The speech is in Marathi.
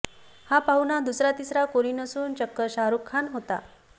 हा पाहुणा दुसरा तिसरा कोणी नसून चक्क शाहरुख खान होता